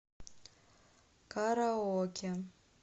караоке